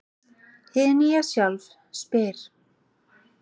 Hið nýja sjálf spyr: